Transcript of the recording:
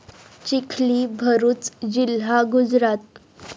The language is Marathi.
चिखली, भरूच जिल्हा, गुजरात